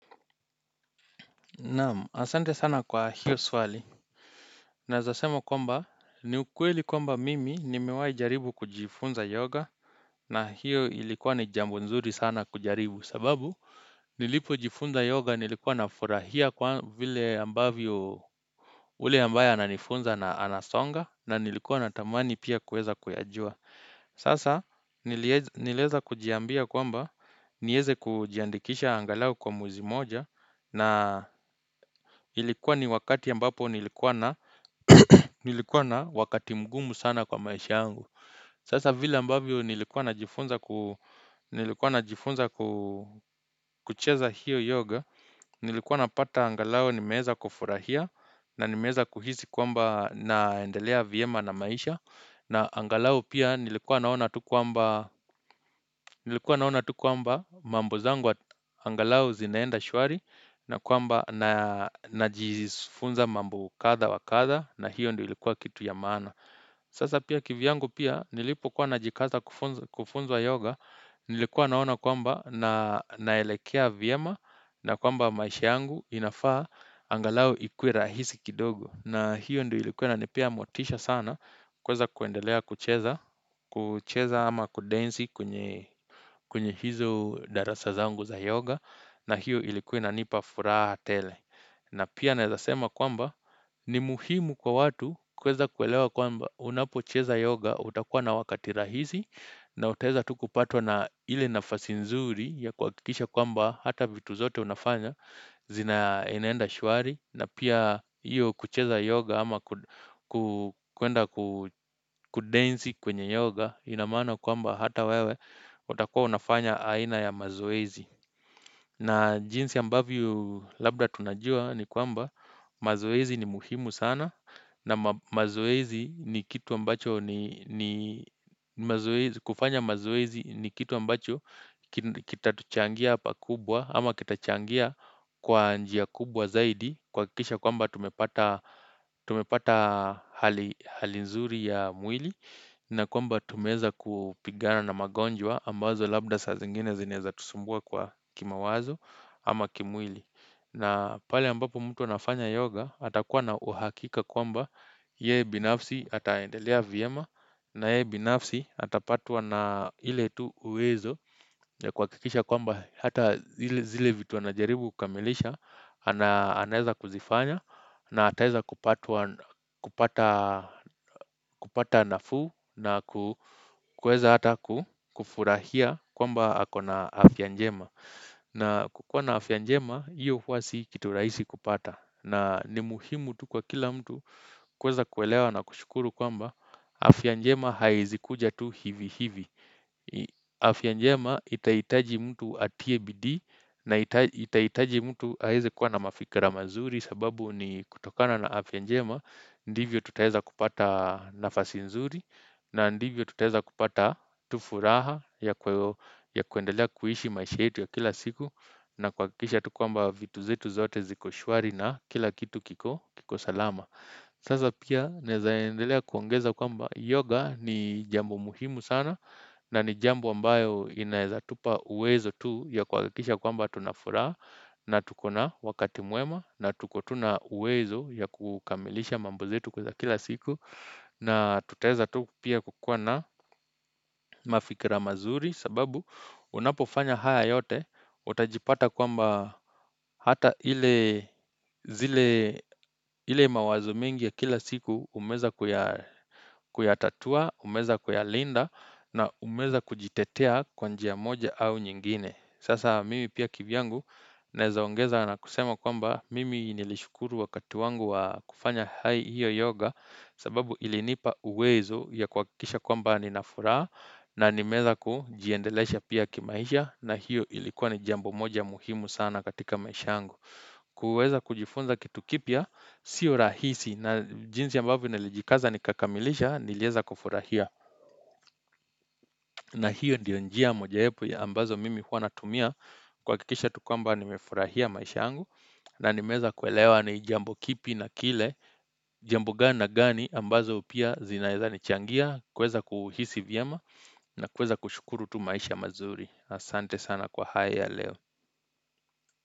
Naam asante sana kwa hiyo swali Naeza sema kwamba ni ukweli kwamba mimi nimewai jaribu kujifunza yoga na hiyo ilikuwa ni jambo nzuri sana kujaribu sababu Nilipojifunza yoga nilikuwa nafurahia kwa vile ambavyo ule ambaye ananifunza anasonga na nilikuwa natamani pia kueza kuyajua Sasa nilieza kujiambia kwamba nieze kujiandikisha angalau kwa mwezi moja na ilikuwa ni wakati ambapo nilikuwa na wakati mgumu sana kwa maisha yangu. Sasa vile ambavyo nilikuwa najifunza kucheza hiyo yoga. Nilikuwa napata angalao nimeeza kufurahia na nimeeza kuhisi kwamba naendelea vyema na maisha. Na angalau pia nilikuwa naona tu kwamba mambo zangu angalau zinaenda shwari na kwamba najifunza mambo kadha wa kadha na hiyo ndio ilikuwa kitu ya maana. Sasa pia kivyangu pia nilipokuwa najikaza kufunzwa yoga nilikuwa naona kwamba na naelekea vyema na kwamba maisha yangu inafaa angalau ikuwe rahisi kidogo. Na hiyo ndio ilikuwa inanipea motisha sana kuweza kuendelea kucheza ama kudensi kwenye hizo darasa zangu za yoga na hiyo ilikuwa inanipa furaha tele. Na pia naeza sema kwamba ni muhimu kwa watu kuweza kuelewa kwamba unapocheza yoga utakuwa na wakati rahisi na utaeza tu kupatwa na ile nafasi nzuri ya kuakikisha kwamba hata vitu zote unafanya inaenenda shuari. Na pia hiyo kucheza yoga ama kuenda kudensi kwenye yoga ina maana kwamba hata wewe utakua unafanya aina ya mazoezi na jinsi ambavyo labda tunajua ni kwamba mazoezi ni muhimu sana na kufanya mazoezi ni kitu ambacho kitatuchangia pakubwa ama kitachangia kwa njia kubwa zaidi kuakikisha kwamba tumepata hali nzuri ya mwili na kwamba tumeeza kupigana na magonjwa ambazo labda sa zingine zinaeza tusumbua kwa kimawazo ama kimwili na pale ambapo mtu anafanya yoga atakuwa na uhakika kwamba yeye binafsi ataendelea vyema na yeye binafsi atapatwa na ile tu uwezo ya kuakikisha kwamba hata zile vitu anajaribu kukamilisha anaeza kuzifanya na ataeza kupata nafuu na kuweza hata kufurahia kwamba ako na afya njema na kukuwa na afya njema, iyo huwa si kitu raisi kupata na ni muhimu tu kwa kila mtu kuweza kuelewa na kushukuru kwamba afya njema haiezi kuja tu hivi hivi afya njema itaitaji mtu atie bidii na itaitaji mtu aeze kuwa na mafikra mazuri sababu ni kutokana na afya njema Ndivyo tutaeza kupata nafasi nzuri na ndivyo tutaeza kupata tu furaha ya kuendelea kuishi maisha yetu ya kila siku na kuakikisha tu kwamba vitu zetu zote ziko shwari na kila kitu kiko salama Sasa pia naeza endelea kuongeza kwamba yoga ni jambo muhimu sana na ni jambo ambayo inaeza tupa uwezo tu ya kuakikisha kwamba tuna furaha na tuko na wakati mwema na tuko tu na uwezo ya kukamilisha mambo zetu za kila siku na tutaeza tu pia kukuwa na mafikra mazuri sababu unapofanya haya yote utajipata kwamba hata ile mawazo mingi ya kila siku umeweza kuyatatua, umeweza kuyalinda na umeweza kujitetea kwa njia moja au nyingine. Sasa mimi pia kivyangu naeza ongeza na kusema kwamba mimi nilishukuru wakati wangu wa kufanya hiyo yoga sababu ilinipa uwezo ya kuakikisha kwamba nina furaha na nimeweza kujiendelesha pia kimaisha na hiyo ilikuwa ni jambo moja muhimu sana katika maisha yangu. Kuweza kujifunza kitu kipya, sio rahisi na jinsi ambavyo nilijikaza nikakamilisha nilieza kufurahia na hiyo ndiyo njia mojawepo ya ambazo mimi hua natumia kuakikisha tu kamba nimefurahia maisha yangu na nimeweza kuelewa ni jambo kipi na kile jambo gani na gani ambazo pia zinaeza nichangia kuweza kuhisi vyema na kuweza kushukuru tu maisha mazuri. Asante sana kwa haya ya leo.